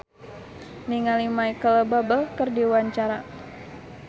Meriam Bellina olohok ningali Micheal Bubble keur diwawancara